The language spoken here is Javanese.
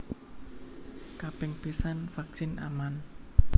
Kaping pisan vaksin aman